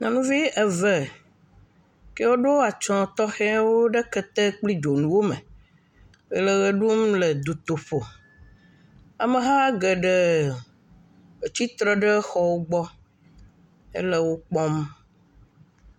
Nyɔnu eve kewo ɖoa atsɔ tɔxɛwo ɖe kete kple dzonuwo me le ʋe ɖum le dutoƒo. Ameha geɖe tsitre ɖe xɔ gbɔ ele wo kpɔm.